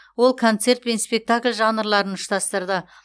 ол концерт пен спектакль жанрларын ұштастырды